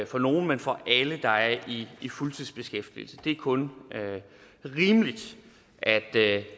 for nogle men for alle der er i fuldtidsbeskæftigelse det er kun rimeligt at